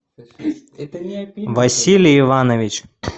василий иванович